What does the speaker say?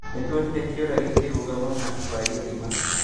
Nĩtuonire kĩũra gĩkĩrũga mwena wa gĩthima